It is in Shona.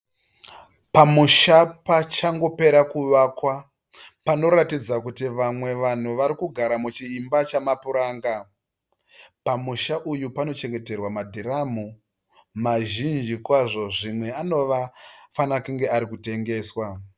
Pamusha pachangopera kuvakwa. Panoratidza kuti vamwe vanhu varikugara muchimba chama puranga. Pamusha uyu panochengeterwa madhiramu mazhinji kwazvo zvimwe anofanira kunge ari kutengeswa.